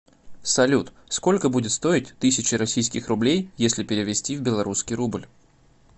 салют сколько будет стоить тысяча российских рублей если перевести в белорусский рубль